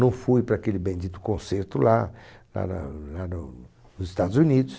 Não fui para aquele bendito concerto lá lá na lá no nos Estados Unidos.